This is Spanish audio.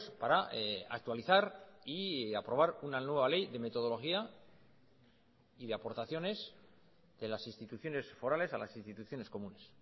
para actualizar y aprobar una nueva ley de metodología y de aportaciones de las instituciones forales a las instituciones comunes